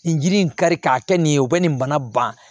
Nin jiri in kari k'a kɛ nin ye u bɛ nin bana ban